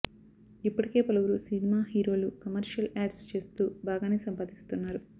ఇప్పటికే పలువురు సినిమా హీరోలు కమర్షియల్ యాడ్స్ చేస్తూ బాగానే సంపాదిస్తున్నారు